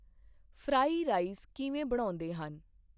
Fry rice ਕਿਵੇਂ ਬਣਾਉਂਦੇਹਨ ?